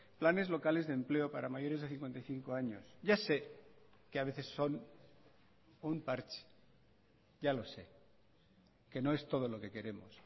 planes locales de empleo para mayores de cincuenta y cinco años ya sé que a veces son un parche ya los sé que no es todo lo que queremos